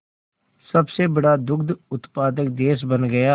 सबसे बड़ा दुग्ध उत्पादक देश बन गया